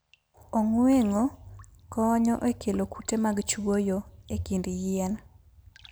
Ong'weng'o konyo e kelo kute mag chwoyo e kind yien.